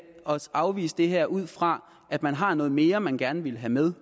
afvise det her ud fra at man har noget mere man gerne vil have med